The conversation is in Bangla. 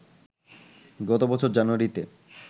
গত বছর জানুয়ারিতে